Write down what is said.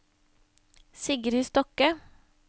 Sigrid Stokke